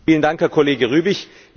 Vielen Dank, Herr Kollege Rübig!